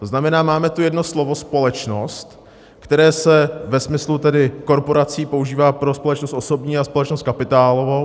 To znamená, máme tu jedno slovo společnost, které se ve smyslu korporací používá pro společnost osobní a společnost kapitálovou.